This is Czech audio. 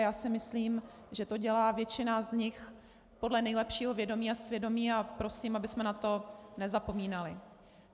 A já si myslím, že to dělá většina z nich podle nejlepšího vědomí a svědomí, a prosím, abychom na to nezapomínali.